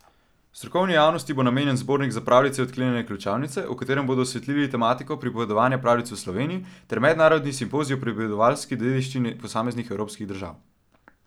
Strokovni javnosti bo namenjen zbornik Za pravljice odklenjene ključavnice, v katerem bodo osvetlili tematiko pripovedovanja pravljic v Sloveniji, ter mednarodni simpozij o pripovedovalski dediščini posameznih evropskih držav.